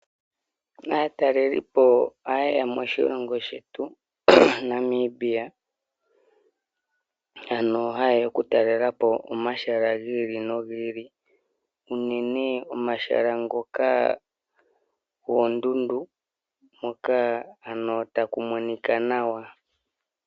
Aatalelipo oha ye ya moshilongo shetu Namibia, ano ha ye ya okutalelapo omahala gi ili nogi ili, unene omahala ngoka goondundu hoka ano taku monika nawa.